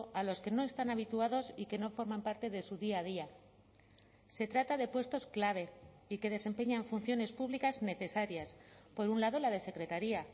a los que no están habituados y que no forman parte de su día a día se trata de puestos clave y que desempeñan funciones públicas necesarias por un lado la de secretaría